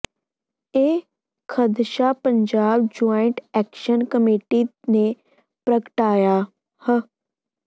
ਇਹ ਖ਼ਦਸ਼ਾ Punjab joint action committee ਨੇ ਪ੍ਗਟਾਇਆ ਹ